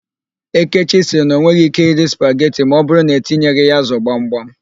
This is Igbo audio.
Ekechi sịrị na o nweghị íké iri spaget ma ọbụrụ na etinyeghị ya ázụ̀ gbamgbam.